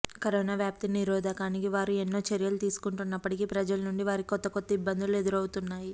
corona వ్యాప్తి నిరోధానికి వారు ఎన్నో చర్యలు తీసుకుంటున్నప్పటికీ ప్రజల నుండి వారికి కొత్త కొత్త ఇబ్బందులు ఎదురవుతున్నాయి